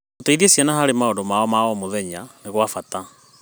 Gũciteithia ciana harĩ maũndũ ma o mũthenya nĩ gwa bata.